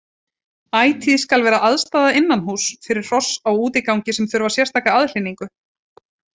Ætíð skal vera aðstaða innanhúss fyrir hross á útigangi sem þurfa sérstaka aðhlynningu.